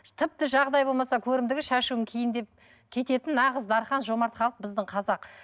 тіпті жағдай болмаса көрімдігі шашуым кейін деп кететін нағыз дархан жомарт халық біздің қазақ